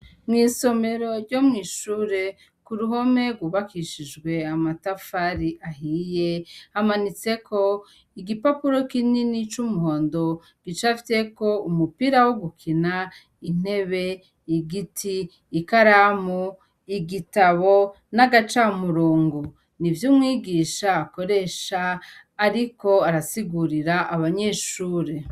Mw'isomero ryo mw'ishure, ku ruhome rwubakishijwe amatafari ahiye, hamanitseko igipapuro kinini c'umuhondo gicafyeko umupira wo gukina, intebe, igiti, ikaramu, igitabo, n'agacamurongo, nivyo umwigisha akoresha ariko arasigurira abanyeshure.